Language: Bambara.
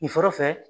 Nin sɔrɔ fɛ